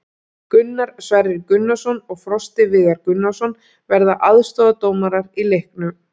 Gunnar Sverrir Gunnarsson og Frosti Viðar Gunnarsson verða aðstoðardómarar í leiknum.